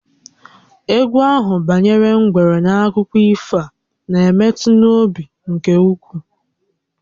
Égwú ahụ banyere ngwere n'akụkọ ifo a na-emetụ n'obi nke ukwuu